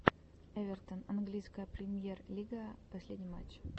эвертон английская премьер лига последний матч